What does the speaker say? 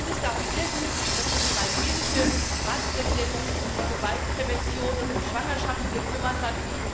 Ich finde es darum sehr gut, dass schon die maltesische Ratspräsidentschaft sich um die Gewaltprävention und um Schwangerschaften gekümmert hat.